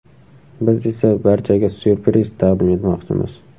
Biz esa barchaga ‘syurpriz’ taqdim etmoqchimiz.